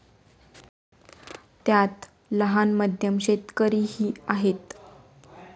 त्यात लहान, मध्यम शेतकरीही आहेत.